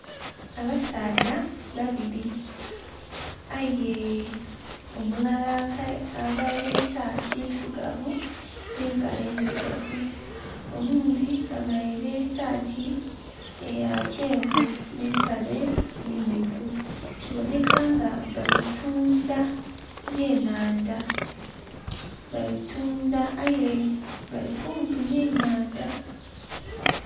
Abasaadha babiri aye omulala aveire esaati ndhirugavu ne mpale ndhirugavu, oghundi aveire esati ya kyenvu ne mpale emyufu kibone nga bali tundha byenandha bali tundha aye bali kumpi ne nhandha.